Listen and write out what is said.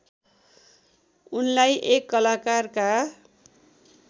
उनलाई एक कलाकारका